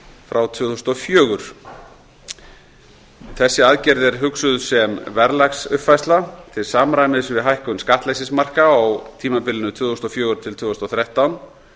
frá tvö þúsund og fjögur þessi aðgerð er hugsuð sem verðlagsuppfærsla til samræmis við hækkun skattleysismarka á tímabilinu tvö þúsund og fjögur til tvö þúsund og þrettán